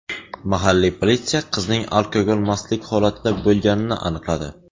Mahalliy politsiya qizning alkogol mastlik holatida bo‘lganini aniqladi.